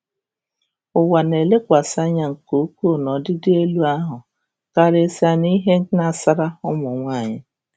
ỤWA na-elekwasị anya nke ukwuu n'ọdịdị elu ahụ, karịsịa n'ihe gnasara ụmụ nwaanyị.